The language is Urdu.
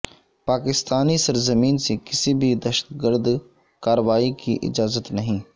پاکستانی سرزمین سے کسی بھی دہشت گرد کارروائی کی اجازت نہیں